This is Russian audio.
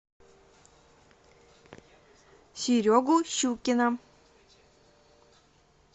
серегу щукина